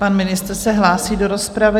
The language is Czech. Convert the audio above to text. Pan ministr se hlásí do rozpravy?